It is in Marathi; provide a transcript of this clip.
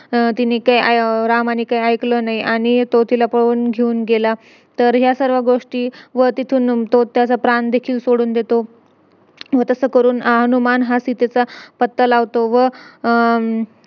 काय पण फेकत होते की त्याच्याने आपलं heart चांगलं होतो असं तसं आपल्या शरीर चांगलं राहते ते ते heart म्हणजे नावामध्ये magnet field असते ना तर तीथ